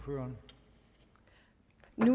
man